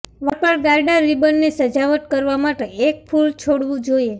વાળ પર ગાર્ટર રિબનને સજાવટ કરવા માટે એક ફૂલ છોડવું જોઈએ